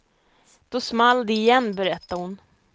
Då small det igen, berättar hon.